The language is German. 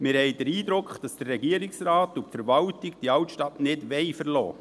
Wir haben den Eindruck, dass der Regierungsrat und die Verwaltung die Altstadt nicht verlassen wollen.